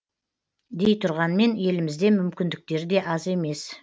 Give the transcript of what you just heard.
дей тұрғанмен елімізде мүмкіндіктерде аз емес